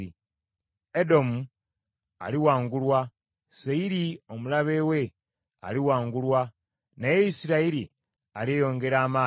Edomu aliwangulwa; Seyiri, omulabe we, aliwangulwa, naye Isirayiri alyeyongera amaanyi.